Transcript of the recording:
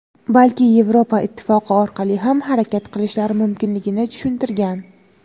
balki Yevropa Ittifoqi orqali ham harakat qilishi mumkinligini tushuntirgan.